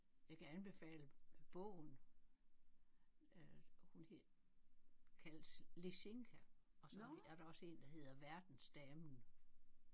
Jeg kan anbefale bogen øh hun hed kaldes Lisinka og så er der også en der hedder Verdensdamen